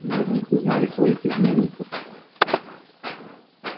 мы в них узнали своих изменников